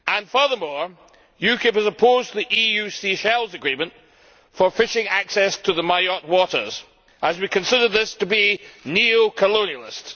Furthermore, UKIP is opposed to the EU Seychelles Agreement for fishing access to the Mayotte waters, as we consider this to be neo colonialist.